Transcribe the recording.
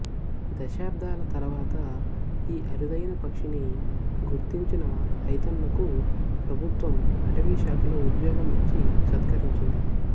దశాబ్దాల తరువాత ఈ అరుదైన పక్షిని గుర్తించిన ఐతన్నకు ప్రభుత్వం అటవిశాఖలో ఉద్యోగం ఇచ్చి సత్కరించింది